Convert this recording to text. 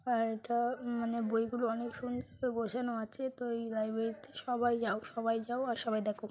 আর এটা মানে বইগুলো অনেক সুন্দর করে গোছানো আছে তো এই লাইব্রেরি তে সবাই যাও সবাই যাও আর সবাই দেখো।